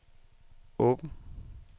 åbn